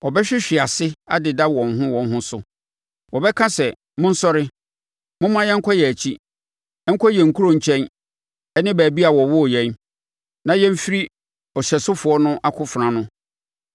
Wɔbɛsuntisunti atoatoa so; wɔbɛhwehwe ase adeda wɔn ho wɔn ho so. Wɔbɛka sɛ, ‘Monsɔre, momma yɛnkɔ yɛn nkyi nkɔ yɛn nkurɔfoɔ nkyɛn ne baabi a wɔwoo yɛn, na yɛmfiri ɔhyɛsofoɔ no akofena ano.’